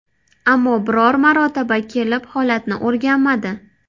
Ammo biror marotaba kelib holatni o‘rganmadi.